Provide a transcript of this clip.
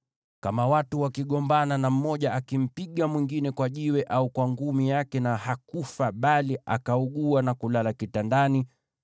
“Kama watu wakigombana na mmoja akimpiga mwingine kwa jiwe au kwa ngumi yake na hakufa bali akaugua na kulala kitandani,